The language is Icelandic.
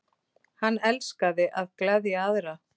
Hann elskaði að gleðja aðra.